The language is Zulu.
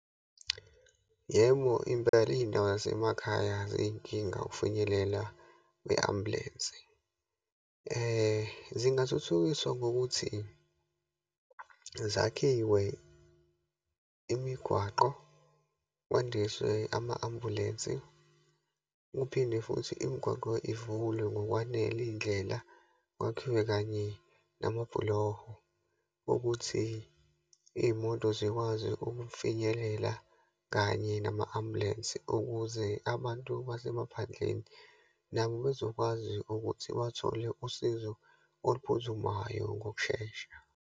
Yebo, impela iyindawo zasemakhaya ziyinkinga ukufinyelela kwe-ambulensi. Zingathuthukiswa, ngokuthi zakhiwe imigwaqo, kwandiswe ama-ambulensi, kuphinde futhi imigwaqo ivulwe ngokwanele, iyindlela, kwakhiwe kanye namabhuloho ukuthi iyimoto zikwazi ukufinyelela kanye nama-ambulensi ukuze abantu basemaphandleni nabo bezokwazi ukuthi bathole usizo oluphuthumayo, ngokushesha.